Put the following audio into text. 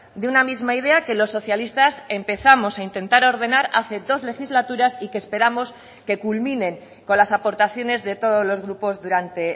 de una misma idea que los socialistas empezamos a intentar ordenar hace dos legislaturas y que esperamos que culminen con las aportaciones de todos los grupos durante